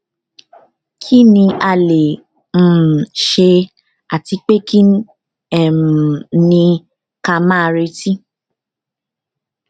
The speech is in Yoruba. kí ni a le um ṣe àti pé kí um ní ka máa retí